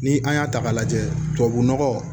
Ni an y'a ta k'a lajɛ tubabu nɔgɔ